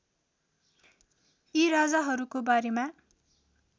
यी राजाहरूको बारेमा